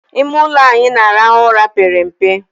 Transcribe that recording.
Ime ụlọ anyị na-arahụ ụra pere mpe